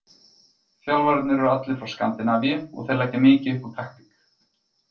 Þjálfararnir eru allir frá Skandinavíu og þeir leggja mikið upp úr taktík.